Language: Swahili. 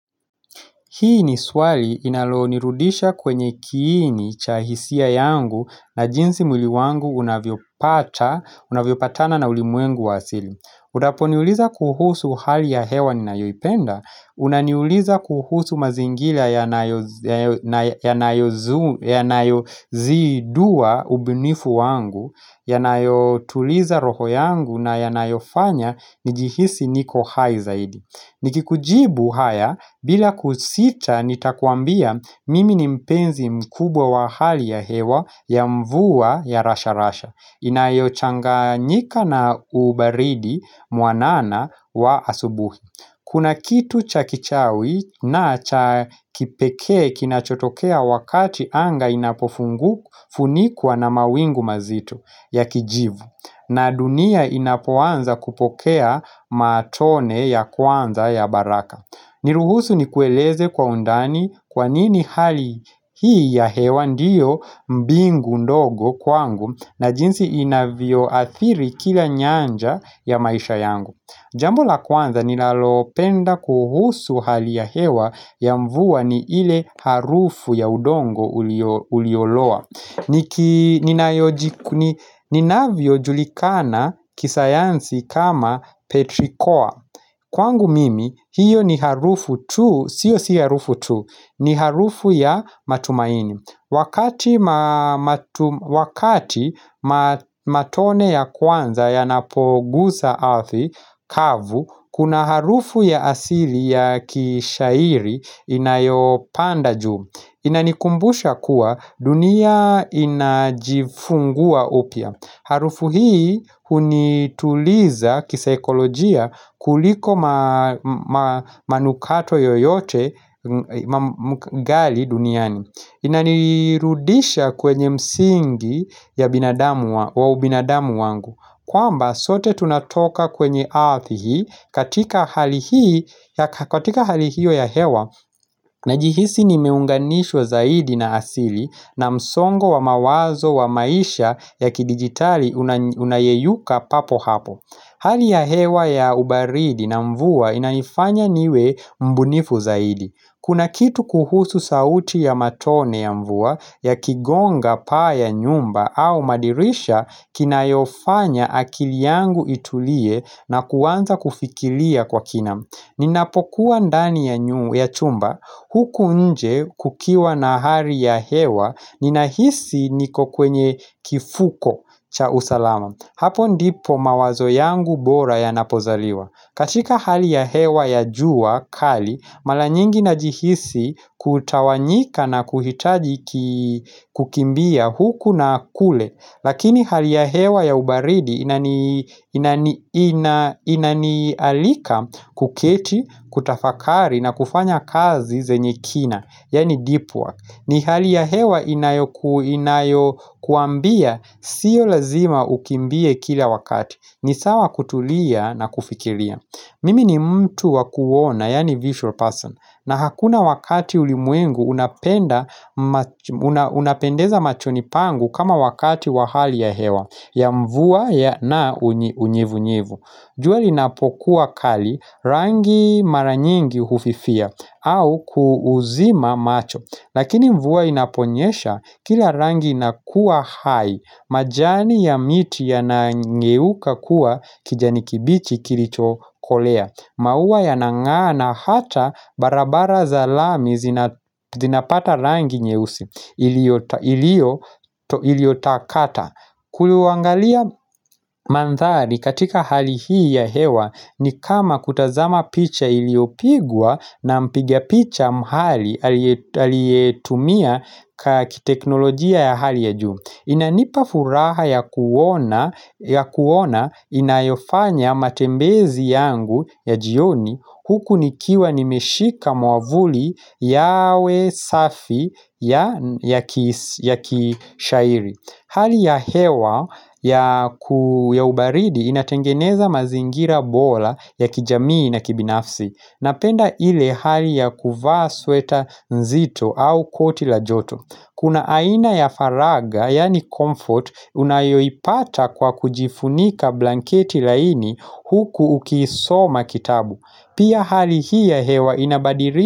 Hii ni swali inaloonirudisha kwenye kiini cha hisia yangu na jinsi mwili wangu unavyopata, unavyopatana na ulimwengu wasili. Unapo niuliza kuhusu hali ya hewa ni nayoipenda, unaniuliza kuhusu mazingilia ya nayo zidua ubunifu wangu, ya nayo tuliza roho yangu na ya nayofanya njihisi niko hai zaidi. Nikikujibu haya bila kusita nitakuambia mimi ni mpenzi mkubwa wa hali ya hewa ya mvua ya rasharasha Inayochanganyika na ubaridi mwanana wa asubuhi Kuna kitu cha kichawi na cha kipeke kinachotokea wakati anga inapofunikuwa na mawingu mazitu ya kijivu na dunia inapuanza kupokea matone ya kwanza ya baraka Niruhusu ni kueleze kwa undani kwanini hali hii ya hewa ndiyo mbingu ndogo kwangu na jinsi inavyo athiri kila nyanja ya maisha yangu Jambo la kwanza nilalopenda kuhusu hali ya hewa ya mvua ni ile harufu ya udongo ulioloa ninavyo julikana kisayansi kama petrikoa Kwangu mimi, hiyo ni harufu tu, sio si harufu tu, ni harufu ya matumaini Wakati matone ya kwanza ya napogusa ardhi, kavu, kuna harufu ya asili ya kishairi inayopanda ju Inanikumbusha kuwa dunia inajifungua upya Harufu hii unituliza kisekolojia kuliko manukato yoyote mgali duniani Inanirudisha kwenye msingi ya binadamu wangu kwamba sote tunatoka kwenye earth hii katika hali hii ya hewa Najihisi nimeunganishwa zaidi na asili na msongo wa mawazo wa maisha ya kidigitali unayeyuka papo hapo Hali ya hewa ya ubaridi na mvua inanifanya niwe mbunifu zaidi Kuna kitu kuhusu sauti ya matone ya mvua ya kigonga paa ya nyumba au madirisha kinayofanya akili yangu itulie na kuwanza kufikilia kwa kina Ninapokuwa ndani ya chumba huku nje kukiwa na hali ya hewa nina hisi niko kwenye kifuko cha usalama Hapo ndipo mawazo yangu bora ya napozaliwa. Katika hali ya hewa ya jua kali mara nyingi na jihisi kutawanyika na kuhitaji kukimbia huku na kule Lakini hali ya hewa ya ubaridi inanialika kuketi, kutafakari na kufanya kazi zenye kina, yani deep work. Ni hali ya hewa inayokuambia, sio lazima ukimbie kila wakati ni sawa kutulia na kufikiria Mimi ni mtu wakuona, yani visual person na hakuna wakati ulimwengu unapendeza machoni pangu kama wakati wahali ya hewa ya mvua na unyevu nyevu. Juali napokuwa kali rangi maranyengi hufifia au kuuuzima macho. Lakini mvua inaponyesha kila rangi nakuwa hai. Majani ya miti ya nangeuka kuwa kijani kibichi kilitokolea. Mauwa ya nangana hata barabara zalami zinapata rangi nyeusi iliotakata Kuluangalia mandhari katika hali hii ya hewa ni kama kutazama picha iliopigwa na mpigia picha mhali alietumia kateknolojia ya hali ya juu Inanipa furaha ya kuona inayofanya matembezi yangu ya jioni huku nikiwa nimeshika mwavuli yawe safi ya kishairi. Hali ya hewa ya ubaridi inatengeneza mazingira bora ya kijamii na kibinafsi. Napenda ile hali ya kuvaa sweta nzito au koti la joto. Kuna aina ya faraga, yani comfort, unayoipata kwa kujifunika blanketi laini huku ukiisoma kitabu. Pia hali hii ya hewa inabadiri.